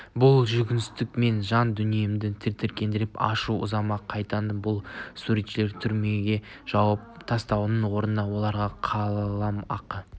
бұл жүгенсіздік менің жан дүниемді тітіркендіріп ашу ызамды қайнатты бұл суретшілерді түрмеге жауып тастаудың орнына оларға қалам ақы